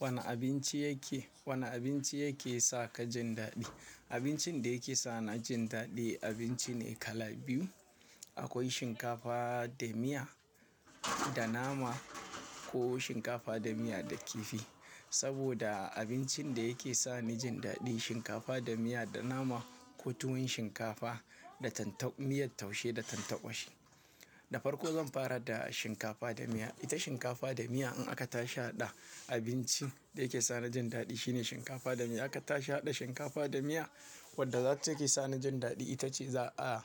Wane abinci yake, wane abinci yake sa ka jin daɗi? Abincin da yake sa ni jin daɗi, abinci ne kala biyu. Akwai shinkafa da miya da nama ko shinkafa da miya da kifi. Saboda abincin da yake sa ni jin daɗi shinkafa da miya da nama ko tuwon shinkafa da tanta-- miyan taushe da tanta ƙwari. Da farko zan fara da shinkafa da miya. Ita shinkafa da miya in aka tashi a haɗa abinci da yake sa ni jin daɗi shine shinkafa da miya. In aka tashi haɗa shinkafa da miya wadda zatake sa ni jin daɗi ita ce za a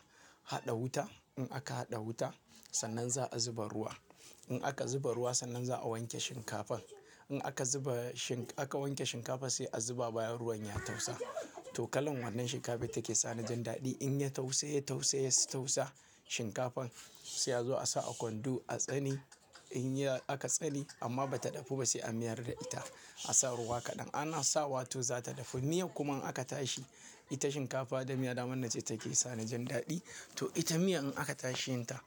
haɗa wuta. In aka haɗa wuta sannan za a zuba ruwa. In aka zuba ruwa sannan za a wanke shinkafan. In aka zuba shin-- aka wanke shinkafa sai a zuba bayan ruwan ya tausa. To kalan wannan shinkafa take sa ni jin daɗi. In ya tausaye, tausaye, ya tausa shinkafan sai ya zo a sa a kwando a tsani. In ya aka tsani amma bata dafu ba sai a mayar da ita. A sa ruwa kaɗan. Ana sawa to za ta dafu. Miya kuma in aka tashi, ita shinkafa da miya naman nace take sa ni jin daɗi. To ita miya in aka tashi yinta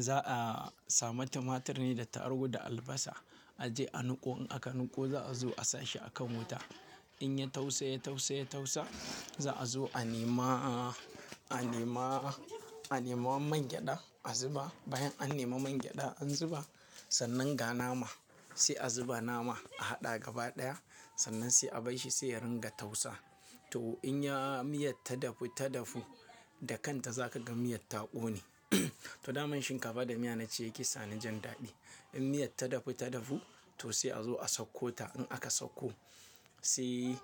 za a samu tumatur ne da tarugu da albasa. A je a nuko. In aka nuko za a zo a sashi a kan wuta. In ya tausaye, tausaye, ya tausa za a zo a nema, a nema, a nema man gyada a zuba. Bayan an nema man gyada an zuba sannan ga nama. Sai a zuba nama a haɗa gaba ɗaya sannan sai a bai shi sai ya ringa tausa. To in ya miyan ta dafu, ta dafu da kanta zaka ga miyan ta ƙone. To daman shinkafa da miya nace yake sa ni jin daɗi. In miyan ta dafu, ta dafu to sai a zo a sauko ta. In aka sauko sai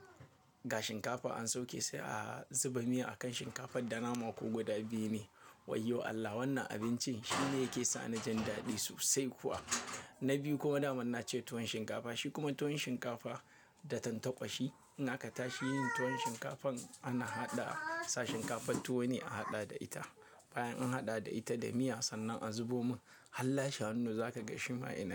ga shinkafa an sauke sai a zuba miya a kan shinkafan da nama ko gwada biyu ne. Wayyo Allah wannan abincin shine yake sa ni jin daɗi sosai kuwa. Na biyu kuma daman nace tuwon shinkafa. Shi kuma tuwon shinkafa da tanta ƙwahi. In aka tashi yin tuwon shinkafan ana haɗa sa shinkafan tuwo ne a haɗa da ita. Bayan an haɗa da ita da miya sannan a zubo mun. Hallashi hannu zaka ga shima yana.